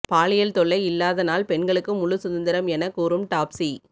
பாலியல் தொல்லை இல்லாத நாள் பெண்களுக்கு முழு சுதந்திரம் என கூறும் டாப்சி